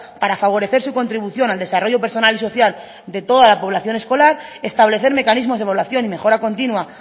para favorecer su contribución al desarrollo personal y social de toda la población escolar establecer mecanismos de evaluación y mejora continua